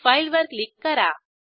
file वर click करा